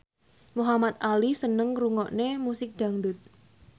Muhamad Ali seneng ngrungokne musik dangdut